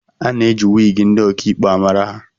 A na-eji wigi ndị ọkaikpe amara ha